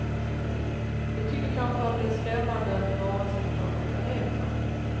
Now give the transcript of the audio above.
De tycker kanske att det är skrämmande med varelser från andra planeter.